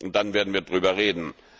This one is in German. Und dann werden wir darüber reden.